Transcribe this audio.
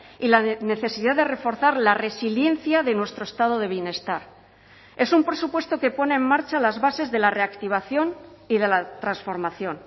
y la necesidad de reforzar la resiliencia de nuestro estado de bienestar es un presupuesto que pone en marcha las bases de la reactivación y de la transformación